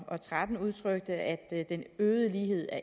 og tretten udtalte at den øgede ulighed